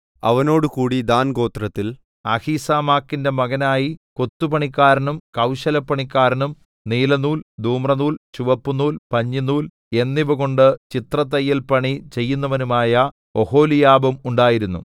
അവനോടുകൂടി ദാൻഗോത്രത്തിൽ അഹീസാമാക്കിന്റെ മകനായി കൊത്തുപണിക്കാരനും കൌശലപ്പണിക്കാരനും നീലനൂൽ ധൂമ്രനൂൽ ചുവപ്പുനൂൽ പഞ്ഞിനൂൽ എന്നിവകൊണ്ട് ചിത്രത്തയ്യൽപണി ചെയ്യുന്നവനുമായ ഒഹൊലിയാബും ഉണ്ടായിരുന്നു